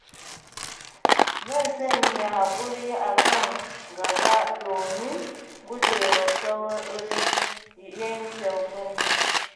Zan sanya haƙuri a kan gaba domin gujewa saurin yanke hukunci.